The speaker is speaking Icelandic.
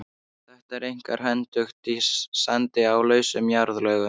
Þetta er einkar hentugt í sandi og lausum jarðlögum.